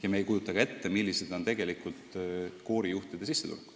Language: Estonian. Ja me ei kujuta ka ette, millised on tegelikult koorijuhtide sissetulekud.